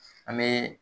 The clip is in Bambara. An bɛ